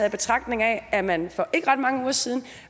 i betragtning af at man for ikke ret mange uger siden